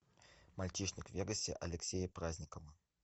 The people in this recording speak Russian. мальчишник в вегасе алексея праздникова